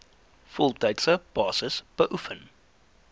voltydse basis beoefen